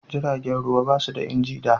jiragen ruwa ba su da inji da